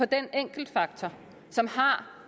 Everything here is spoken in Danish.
den enkeltfaktor som har